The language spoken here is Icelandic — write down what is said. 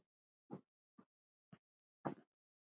Þetta náði til okkar.